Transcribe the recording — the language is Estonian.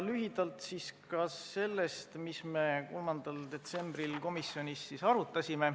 Lühidalt ka sellest, mida me 3. detsembril komisjonis arutasime.